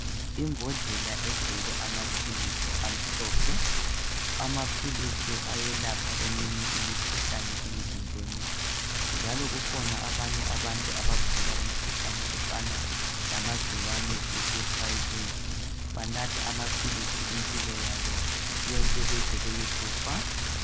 Imbodlela egcwele amaphilisi amhlophe amaphilisi ayelapha eminye imikhuhlane emzimbeni njalo kukhona abanye abantu abagula imkhuhlane efana lamagciwane eHIV banatha amaphilisi impilo yabo yonke beze beyekufa